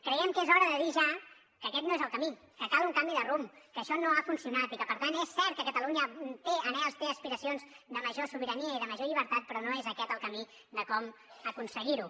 creiem que és hora de dir ja que aquest no és el camí que cal un canvi de rumb que això no ha funcionat i que per tant és cert que catalunya té anhels té aspiracions de major sobirania i de major llibertat però no és aquest el camí de com aconseguir ho